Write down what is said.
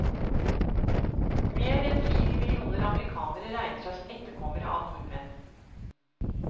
Mer enn fire millioner amerikanere regner seg som etterkommere av nordmenn.